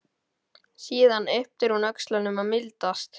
Síðan ypptir hún öxlum og mildast.